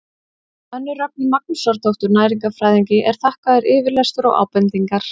Önnu Rögnu Magnúsardóttur næringarfræðingi er þakkaður yfirlestur og ábendingar.